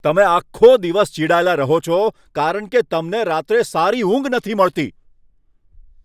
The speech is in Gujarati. તમે આખો દિવસ ચિડાયેલા રહો છો કારણ કે તમને રાત્રે સારી ઊંઘ નથી મળતી.